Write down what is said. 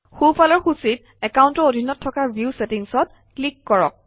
সোঁফালৰ সূচীত একাউণ্টৰ অধীনত থকা ভিউ ছেটিংছত ক্লিক কৰক